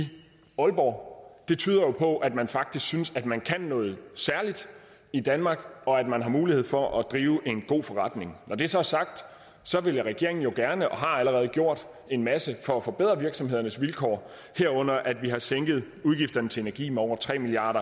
aalborg det tyder jo på at man faktisk synes at man kan noget særligt i danmark og at man har mulighed for at drive en god forretning når det så er sagt vil regeringen jo gerne og har allerede gjort en masse for at forbedre virksomhedernes vilkår herunder at vi har sænket udgifterne til energi med over tre milliard